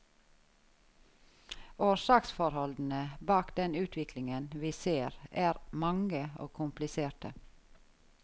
Årsaksforholdene bak den utviklingen vi ser er mange og kompliserte.